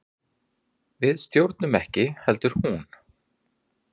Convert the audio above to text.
Við stjórnuðum ekki heldur hún.